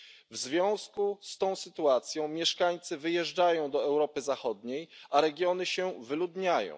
W związku z tą sytuacją mieszkańcy wyjeżdżają do Europy Zachodniej, a regiony się wyludniają.